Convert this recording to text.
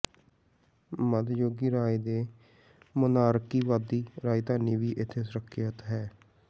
ਮੱਧਯੁਗੀ ਰਾਜ ਦੇ ਮੋਨਾਰਕੀਵਾਦੀ ਰਾਜਧਾਨੀ ਵੀ ਇੱਥੇ ਸੁਰੱਖਿਅਤ ਹੈ